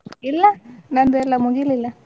ಇಲ್ಲ ನಂದೆಲ್ಲ ಮುಗಿಲಿಲ್ಲ.